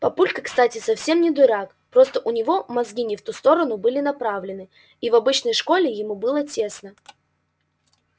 папулька кстати совсем не дурак просто у него мозги не в ту сторону были направлены и в обычной школе ему было тесно